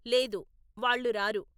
లేదు, వాళ్ళు రారు.